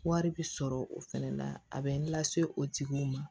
Wari bi sɔrɔ o fɛnɛ na a bɛ n lase o tigiw ma